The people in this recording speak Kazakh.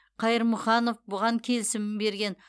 қайырмұханов бұған келісімін берген